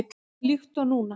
Líkt og núna.